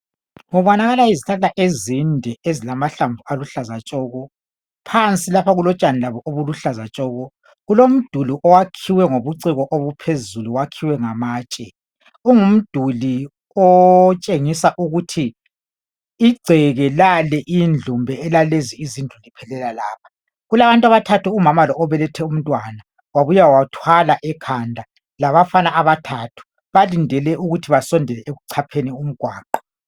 Kubonakala izihlahla ezinde ezilamahlamvu aluhlaza tshoko, phansi lapha kulotshani lakho obuluhlaza tshoko, kulomduli owakhiwe ngobuciko obuphezuli, wakhiwe ngamatshe, ungumduli otshengisa ukuthi igceke lale indlu kumbe elalezi izindlu liphelela lapha. Kulabantu abathathu, umama lo obelethe umntwana, wabuya wathwala ekhanda, labafana abathathu , balindele ukuthi basondele ekuchapheni umgwaqo.